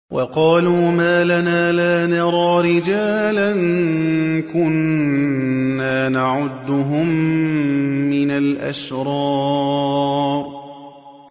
وَقَالُوا مَا لَنَا لَا نَرَىٰ رِجَالًا كُنَّا نَعُدُّهُم مِّنَ الْأَشْرَارِ